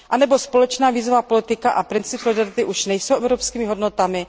Anebo společná vízová politika a princip solidarity už nejsou evropskými hodnotami?